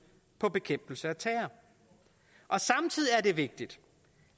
på bekæmpelse af terror samtidig er det vigtigt